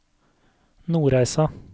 Nordreisa